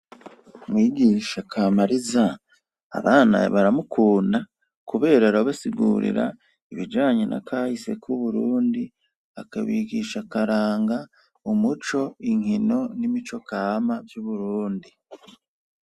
Umwigisha Kamariza abana baramukunda, kubera arabasigurira ibijanye nakahise ku Burundi akabigisha akaranga umuco, imikino ,nimicokama yu Burundi.